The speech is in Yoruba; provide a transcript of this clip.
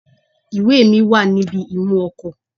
Ìwé è mi wà níbi imú ọkò